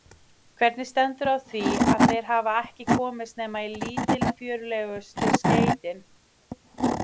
Hvernig stendur á því, að þeir hafa ekki komist nema í lítilfjörlegustu skeytin?